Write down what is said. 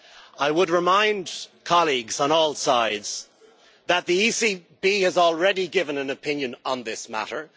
I would remind colleagues on all sides that the ECB has already given an opinion on this matter.